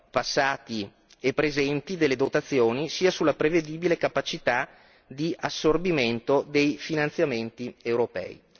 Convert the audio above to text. passati e presenti delle dotazioni sia sulla prevedibile capacità di assorbimento dei finanziamenti europei.